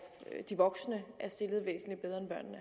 de voksne